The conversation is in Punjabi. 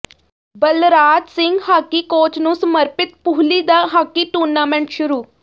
ਬਲਰਾਜ ਸਿੰਘ ਹਾਕੀ ਕੋਚ ਨੂੰ ਸਮਰਪਿਤ ਪੂਹਲੀ ਦਾ ਹਾਕੀ ਟੂਰਨਾਮੈਂਟ ਸ਼ੁਰੂ